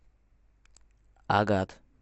агат